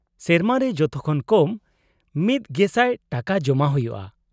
-ᱥᱮᱨᱢᱟ ᱨᱮ ᱡᱚᱛᱚᱠᱷᱚᱱ ᱠᱚᱢ ᱑᱐᱐᱐ ᱴᱟᱠᱟ ᱡᱚᱢᱟ ᱦᱩᱭᱩᱜᱼᱟ ᱾